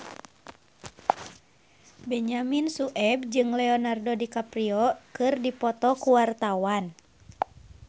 Benyamin Sueb jeung Leonardo DiCaprio keur dipoto ku wartawan